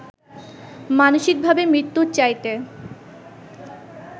মানসিকভাবে মৃত্যুর চাইতে